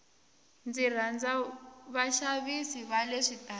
ndzi rhandza vaxavisi vale switarateni